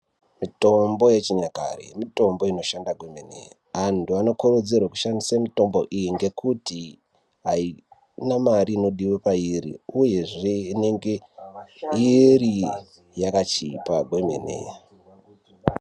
Mitombo yechinyakare mitombo inoshanda kwemene antu anokurudzirwe kushandisa mitombo iyi ngekuti haina mare inodiwa pairi uyezve inenge iri yakachipa kwemene .